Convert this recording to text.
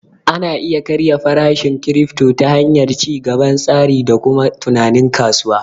Ana iya karya farashin kirifto ta hanyar ci gaban tsari da kuma tunanin kasuwa